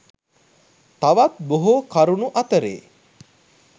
තවත් බොහෝ කරුණු අතරේ